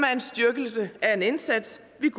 et